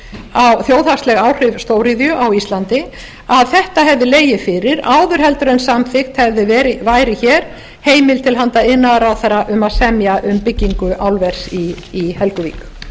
um þjóðhagsleg áhrif stóriðju á íslandi að þetta hefði legið fyrir áður heldur en samþykkt hefði verið hér heimild til handa iðnaðarráðherra um að semja um byggingu álvers í helguvík